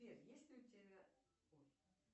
сбер есть ли у тебя ой